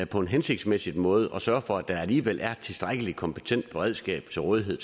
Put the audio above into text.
på en hensigtsmæssig måde at sørge for at der alligevel er tilstrækkelig kompetent beredskab til rådighed